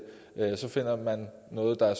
finder man noget der